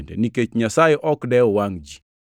nikech Nyasaye ok dew wangʼ ji.